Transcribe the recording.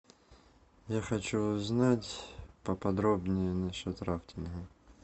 я хочу узнать поподробнее насчет рафтинга